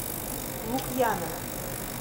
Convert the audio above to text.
лукьянова